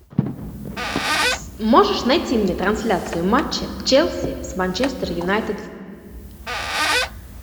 можешь найти мне трансляцию матча челси с манчестер юнайтед